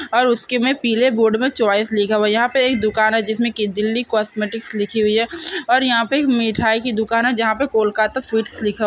और उसके में पीले बोर्ड में चॉइस लिखा हुआ है यहां पर एक दुकान है जिसमें की दिल्ली कॉस्मेटिक्स लिखी हुई है और यहां पे एक मिठाई की दुकान है जहां पर कोलकाता स्वीट्स लिखा --